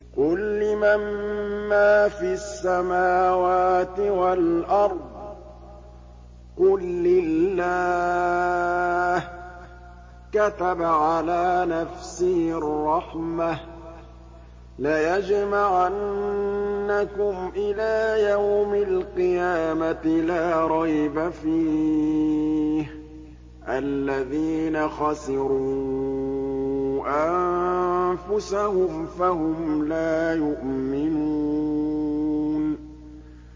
قُل لِّمَن مَّا فِي السَّمَاوَاتِ وَالْأَرْضِ ۖ قُل لِّلَّهِ ۚ كَتَبَ عَلَىٰ نَفْسِهِ الرَّحْمَةَ ۚ لَيَجْمَعَنَّكُمْ إِلَىٰ يَوْمِ الْقِيَامَةِ لَا رَيْبَ فِيهِ ۚ الَّذِينَ خَسِرُوا أَنفُسَهُمْ فَهُمْ لَا يُؤْمِنُونَ